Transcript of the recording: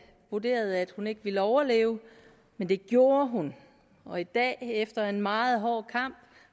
vurderede at hun ikke ville overleve men det gjorde hun og i dag efter en meget hård kamp